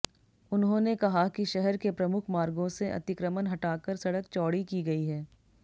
उन्होंने कहा कि शहर के प्रमुख मार्गों से अतिक्रमण हटाकर सड़क चौड़ी की गई है